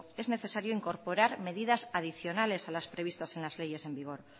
es necesario incorporar medidas adicionales a las previstas en las leyes en vigor